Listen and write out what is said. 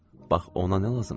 Bax ona nə lazımdır.